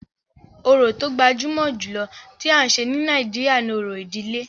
Orò tó gbajúmọ̀ jùlọ tí à ń ṣe ní Nàìjíríà ni òrò ìdílé.